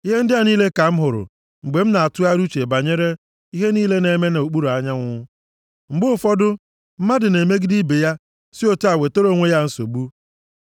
Ihe ndị a niile ka m hụrụ, mgbe m na-atụgharị uche banyere ihe niile a na-eme nʼokpuru anyanwụ. Mgbe ụfọdụ, mmadụ na-emegide ibe ya si otu a wetara onwe ya nsogbu.